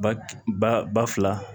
Ba ba ba fila